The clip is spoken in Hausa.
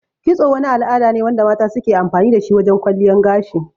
Kitso wani al'ada ne wanda mata suke amfani dashi wajan kwalliyan gashi